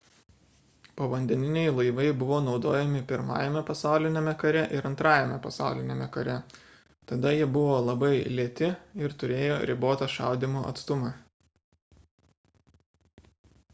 povandeniniai laivai buvo naudojami i pasauliniame kare ir ii pasauliniame kare tada jie buvo labai lėti ir turėjo ribotą šaudymo atstumą